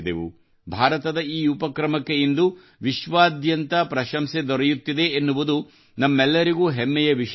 ಭಾರತದ ಈ ಉಪಕ್ರಮಕ್ಕೆ ಇಂದು ವಿಶ್ವಾದ್ಯಾಂತ ಪ್ರಶಂಸೆ ದೊರೆಯುತ್ತಿದೆ ಎನ್ನುವುದು ನಮೆಲ್ಲರಿಗೂ ಹೆಮ್ಮೆಯ ವಿಷಯವಾಗಿದೆ